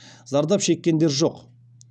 зардап шеккендер жоқ